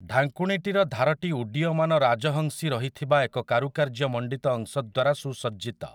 ଢାଙ୍କୁଣୀଟିର ଧାରଟି ଉଡ୍ଡୀୟମାନ ରାଜହଂସୀ ରହିଥିବା ଏକ କାରୁକାର୍ଯ୍ୟ ମଣ୍ଡିତ ଅଂଶ ଦ୍ୱାରା ସୁସଜ୍ଜିତ ।